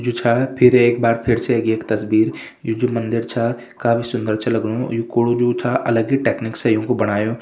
यु छा फिर एक बार फिरसे ऐगे एक तस्वीर यु जू मंदिर छा काफी सुन्दर छ लगणु यु कूड़ु जु छा अलग ही टेक्निक से यूँकु बणायु।